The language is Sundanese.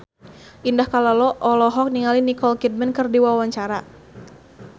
Indah Kalalo olohok ningali Nicole Kidman keur diwawancara